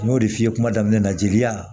N y'o de f'i ye kuma daminɛ na jeli la